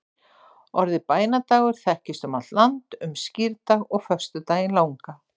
orðið bænadagar þekkist um allt land um skírdag og föstudaginn langa